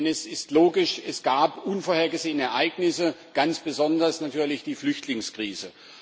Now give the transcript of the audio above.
Denn es ist logisch Es gab unvorhergesehene Ereignisse, ganz besonders natürlich die Flüchtlingskrise.